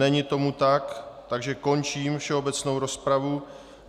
Není tomu tak, takže končím všeobecnou rozpravu.